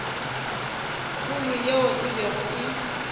kgolo yeo e bego e